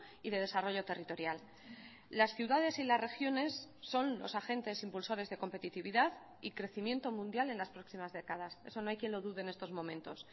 y de desarrollo territorial las ciudades y las regiones son los agentes impulsores de competitividad y crecimiento mundial en las próximas décadas eso no hay quien lo dude en estos momentos